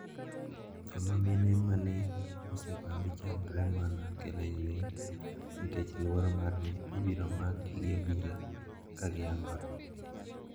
Joma mine ma ne osebambi chandre mana kiling`ling` nikech luoro mar ni ibiro makgi gi obila ka giyangore.